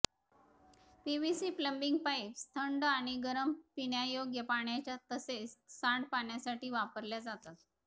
PVC plumbing pipes थंड आणि गरम पिण्यायोग्य पाण्याच्या तसेच सांडपाणीसाठी वापरल्या जातात